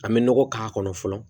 An bɛ nɔgɔ k'a kɔnɔ fɔlɔ